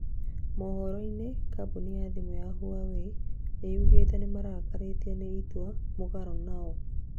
mohoroinĩ kamboni ya thĩmũ ya Huawei yugĩte nĩmarakarĩtio nĩ itua mũgarũ nao